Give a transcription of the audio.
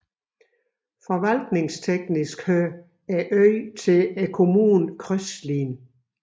Forvaltningsteknisk hører øen til kommunen Kröslin